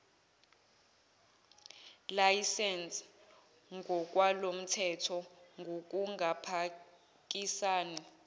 layisense ngokwalomthetho ngokungaphikisani